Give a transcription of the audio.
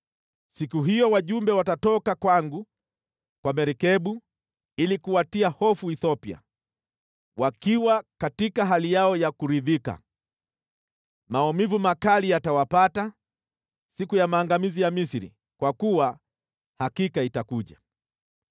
“ ‘Siku hiyo wajumbe watatoka kwangu kwa merikebu, ili kuwatia hofu Ethiopia, wakiwa katika hali yao ya kuridhika. Maumivu makali yatawapata siku ya maangamizi ya Misri, kwa kuwa hakika itakuja.